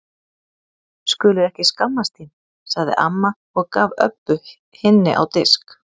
Skulir ekki skammast þín, sagði amma og gaf Öbbu hinni á disk.